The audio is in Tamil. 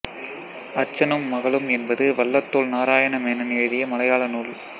அச்சனும் மகளும் என்பது வள்ளத்தோள் நாராயண மேனன் எழுதிய மலையாள நூல்